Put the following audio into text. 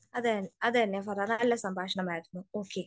അതെ അനു, അതുതന്നെ. വളരേ നല്ല സംഭാഷണം ആയിരുന്നു. ഓക്കെ.